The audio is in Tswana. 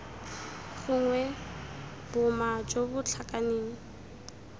gongwe boma jo bo tlhakaneng